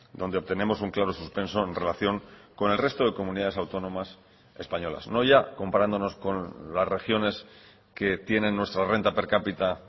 donde obtenemos un claro suspenso en relación con el resto de comunidades autónomas españolas no ya comparándonos con las regiones que tienen nuestra renta per cápita